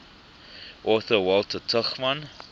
author walter tuchman